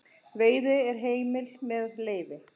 Veiði er heimil með leyfi.